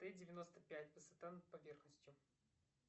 т девяносто пять высота над поверхностью